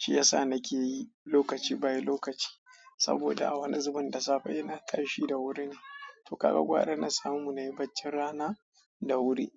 Shi yasa nake yi lokaci bayan lokaci. Saboda a wani zuben da safe ina tashi da wuri ne. To ka ga gwara na samu na yi baccin rana da wuri.